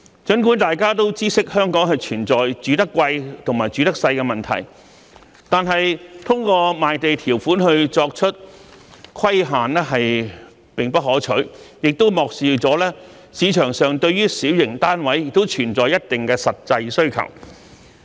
儘管大家都知悉香港存在"住得貴，住得細"的問題，但是，通過賣地條款作出規限，並不可取，亦漠視市場上對於小型單位存在一定的實際需求。